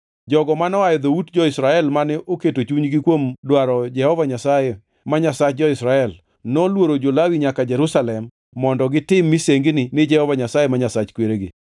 Jogo manoa e dhout jo-Israel mane oketo chunygi kuom dwaro Jehova Nyasaye, ma Nyasach jo-Israel, noluoro jo-Lawi nyaka Jerusalem mondo gitim misengini ni Jehova Nyasaye ma Nyasach kweregi.